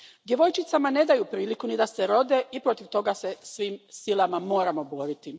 Djevojčicama ne daju priliku ni da se rode i protiv toga se svim silama moramo boriti.